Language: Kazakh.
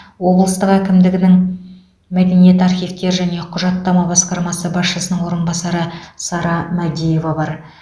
облстық әкімдігінің мәдениет архивтер және құжаттама басқармасы басшысының орынбасары сара мәдиева бар